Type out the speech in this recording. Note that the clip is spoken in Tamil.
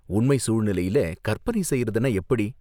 உண்மை சூழ்நிலையில கற்பனை செய்றதுனா எப்படி?